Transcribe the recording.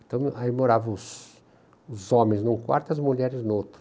Então, aí moravam os homens num quarto e as mulheres no outro.